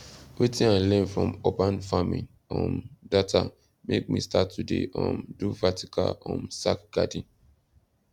wetin i learn from urban farming um data make me start to dey um do vertical um sack garden